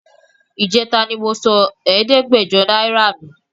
Ìjẹta ni mo sọ ẹ̀ẹ́dẹ́gbẹ̀jọ náírà nù